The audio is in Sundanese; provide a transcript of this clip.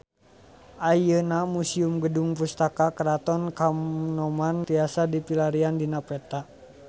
Ayeuna Museum Gedung Pusaka Keraton Kanoman tiasa dipilarian dina peta